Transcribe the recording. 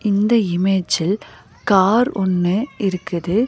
இந்த இமேஜில் கார் ஒன்னு இருக்குது.